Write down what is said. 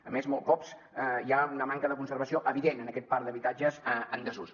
a més molts cops hi ha una manca de conservació evident en aquest parc d’habitatges en desús